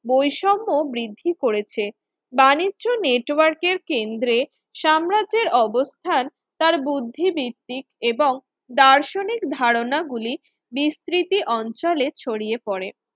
বৈষম্য বৃদ্ধি করেছে বাণিজ্য নেটওয়ার্কের কেন্দ্রে সাম্রাজ্যের অবস্থান তার বুদ্ধি ভিত্তিক এবং দার্শনিক ধারণা গুলি বিস্তৃতি অঞ্চলে ছড়িয়ে পড়ে